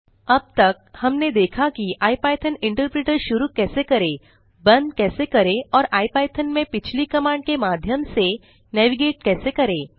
अब तक हमने देखा कि इपिथॉन इंटरप्रेटर शुरू कैसे करें बंद कैसे करें और इपिथॉन में पिछली कमांड के माध्यम से नेविगेट कैसे करें